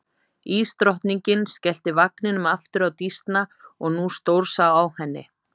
Ísdrottningin skellti vagninum aftur á Dísna og nú stórsá á henni.